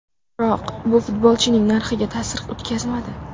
Biroq bu futbolchining narxiga ta’sir o‘tkazmadi.